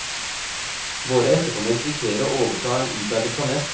Våre etterkommere risikerer å overta en utarmet planet.